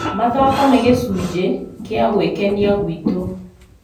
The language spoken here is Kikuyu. Mathako nĩ gĩcunjĩ kĩa gwĩkenia gwitũ.